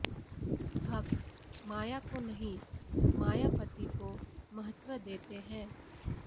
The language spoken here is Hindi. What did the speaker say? भक्त माया को नहीं मायापति को महत्त्व देते हैं